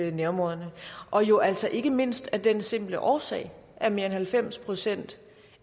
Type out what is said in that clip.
i nærområderne og jo altså ikke mindst af den simple årsag at mere end halvfems procent